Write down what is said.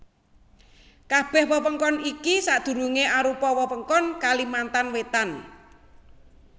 Kabèh wewengkon iki sadurungé arupa wewengkon Kalimantan Wétan